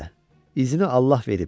İzini Allah verib.